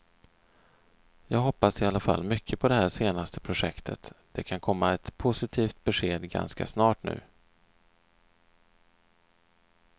Jag hoppas i alla fall mycket på det här senaste projektet, det kan komma ett positivt besked ganska snart nu.